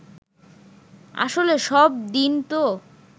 আসলে সব দিন তো